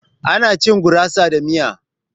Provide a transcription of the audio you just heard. Ana cin gurasa da miya.